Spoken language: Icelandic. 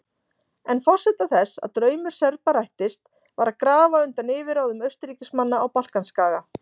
En forsenda þess að draumur Serba rættist var að grafa undan yfirráðum Austurríkismanna á Balkanskaga.